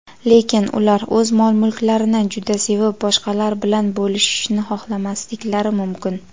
lekin ular o‘z mol-mulklarini juda sevib boshqalar bilan bo‘lishishni xohlamasliklari mumkin.